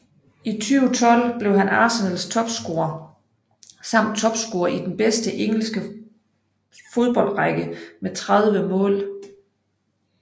I 2012 blev han Arsenals topscorer samt topscorer i den bedste engelske bedste fodboldrække med 30 mål